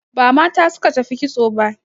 Ba mata suka tafi kitso ba